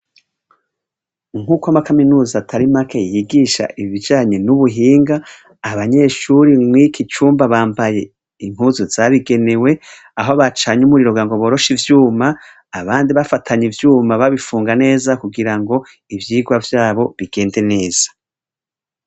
Nkuko amakaminuza atari make yigisha ibijanye n' ubuhinga abanyeshure mw' iki cumba bambaye impuzu zabigenewe aho bacanye umuriro kugira ngo boroshe ivyuma abandi bafatanya ivyuma babifunga neza kugira ngo ivyigwa vyabo bigende neza.